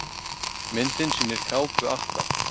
Myndin sýnir kápu Atla.